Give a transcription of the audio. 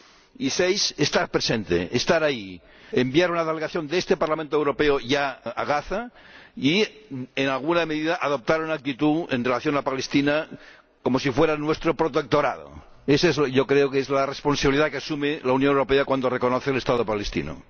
y seis, estar presente, estar ahí, enviar ya una delegación de este Parlamento Europeo a Gaza y, en alguna medida, adoptar una actitud en relación con Palestina como si fuera nuestro protectorado. Esa yo creo que es la responsabilidad que asume la Unión Europea cuando reconoce el Estado palestino.